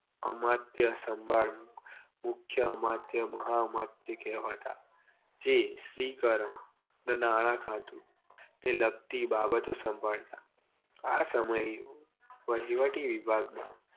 અમર્ત્ય સંભાળ મુખ્ય અમર્ત્ય મહ અમર્ત્ય કહેવાતા જે સ્ત્રીકરણ જે નાણાં ખાતું ને લગતી બાબતો સંભાળતા આ સમયે વહીવટી વિભાગમાં